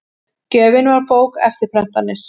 Gjöfin var bók, eftirprentanir